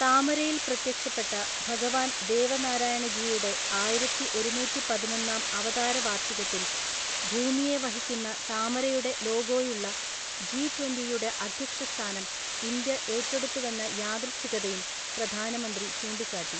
താമരയിൽ പ്രത്യക്ഷപ്പെട്ട ഭഗവാൻ ദേവനാരായണജിയുടെ ആയിരത്തിഒരുനൂറ്റിപതിനൊന്നാം അവതാര വാർഷികത്തിൽ, ഭൂമിയെ വഹിക്കുന്ന താമരയുടെ ലോഗോയുള്ള ജി ട്വന്‍റി യുടെ അധ്യക്ഷസ്ഥാനം ഇന്ത്യ ഏറ്റെടുത്തുവെന്ന യാദൃച്ഛികതയും പ്രധാനമന്ത്രി ചൂണ്ടിക്കാട്ടി.